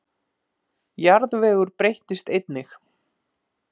Jarðvegur breyttist einnig.